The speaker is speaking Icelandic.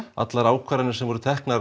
allar ákvarðanir sem voru teknar